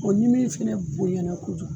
ni min fɛnɛ bonɲɛna kojugu